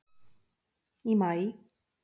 Í maí.